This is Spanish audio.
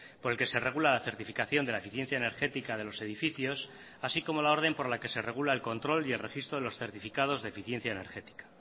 por el que se regula la certificación de la eficiencia energética de los edificios así como la orden por la que se regula el control y el registro de los certificados de eficiencia energética